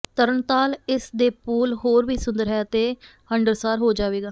ਤਰਣਤਾਲ ਇਸ ਦੇ ਪੂਲ ਹੋਰ ਵੀ ਸੁੰਦਰ ਹੈ ਅਤੇ ਹੰਢਣਸਾਰ ਹੋ ਜਾਵੇਗਾ